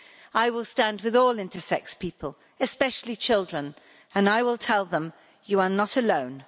I will stand with all intersex people, especially children, and I will tell them You are not alone.'